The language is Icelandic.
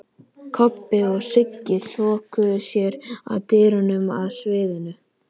Kobbi og Sigga þokuðu sér að dyrunum að sviðinu.